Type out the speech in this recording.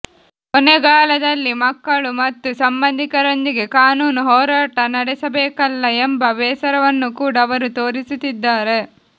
ಕೊನೆಗಾಲ ದಲ್ಲಿ ಮಕ್ಕಳು ಮತ್ತು ಸಂಬಂಧಿಕರೊಂದಿಗೆ ಕಾನೂನು ಹೋರಾಟ ನಡೆಸಬೇಕಲ್ಲ ಎಂಬ ಬೇಸರ ವನ್ನು ಕೂಡಾ ಅವರು ತೋರಿಸುತ್ತಿದ್ದಾರೆ